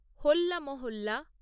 হোল্লা মহল্লা